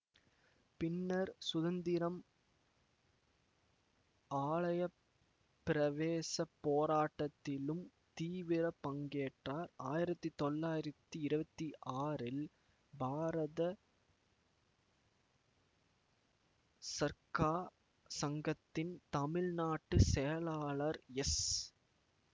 பின்னர் சுசீந்திரம் ஆலயப்பிரவேசப் போராட்டத்திலும் தீவிர பங்கேற்றார் ஆயிரத்தி தொள்ளாயிரத்தி இருவத்தி ஆறில் பாரத சர்க்கா சங்கத்தின் தமிழ்நாட்டு செயலாளர் எஸ்